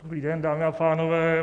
Dobrý den, dámy a pánové.